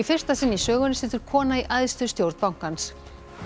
fyrsta sinn í sögunni situr kona í æðstu stjórn bankans